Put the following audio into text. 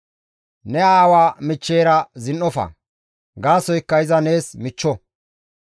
«Ne aawa michcheyra zin7ofa; gaasoykka iza nees michcho.